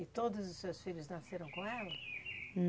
E todos os seus filhos nasceram com ela?